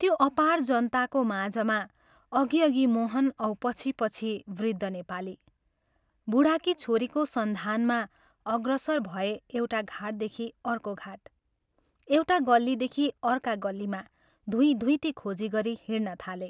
त्यो अपार जनताको माझमा अघि अघि मोहन औ पछि पछि वृद्ध नेपाली, बूढाकी छोरीको सन्धानमा अग्रसर भए एउटा घाटदेखि अर्को घाट, एउटा गल्लीदेखि अर्का गल्लीमा धुइँधुइँती खोजी गरी हिंड्नथाले।